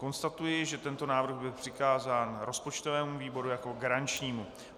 Konstatuji, že tento návrh byl přikázán rozpočtovému výboru jako garančnímu.